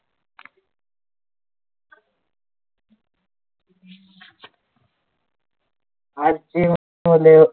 आजची मुले,